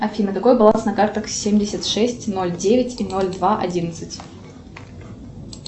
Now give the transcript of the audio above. афина какой баланс на картах семьдесят шесть ноль девять и ноль два одиннадцать